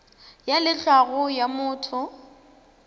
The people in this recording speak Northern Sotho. ya le tlhago ya motho